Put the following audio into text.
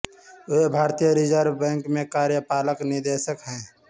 वे भारतीय reserve bank में कार्यपालक निदेशक हैं